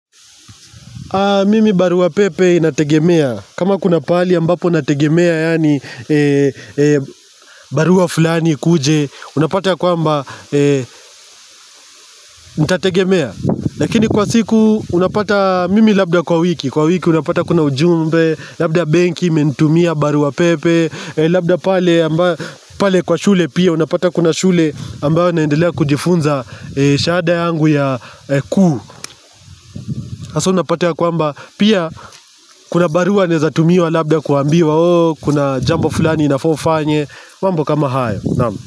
Mimi barua pepe nategemea. Kama kuna pali ambapo nategemea yani barua fulani ikuje, unapata kwamba nitategemea. Lakini kwa siku unapata mimi labda kwa wiki, kwa wiki unapata kuna ujumbe, labda benki, imentumia barua pepe, labda pale kwa shule pia unapata kuna shule ambayo naendelea kujifunza shahada yangu ya kuu. Haso unapata ya kwamba pia kuna barua naeza tumiwa labda kuambiwa ooh kuna jambo fulani nafaa ufanye mambo kama haya naam.